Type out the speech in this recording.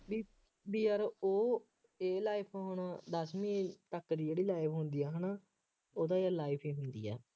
ਬਈ ਬਈ ਯਾਰ ਉਹ ਇਹ life ਹੁਣ ਦੱਸਵੀਂ ਤੱਕ ਦੀ ਜਿਹੜੀ life ਹੁੰਦੀ ਹੈ, ਹੈ ਨਾ, ਉਦੋਂ ਇਹ life ਹੀ ਹੁੰਦੀ ਹੈ।